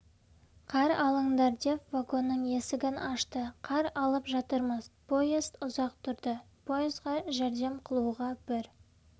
қар алыңдар деп вагонның есігін ашты қар алып жатырмыз поезд ұзақ тұрды поезға жәрдем қылуға бір